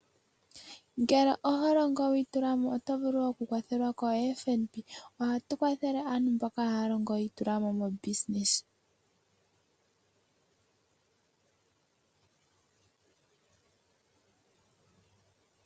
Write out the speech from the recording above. Ngele oholongo wiitulamo, oto vulu okukwathelwa ko FNB. Ohaya kwathele aantu mboka haya longo yiitulamo moongeshefa.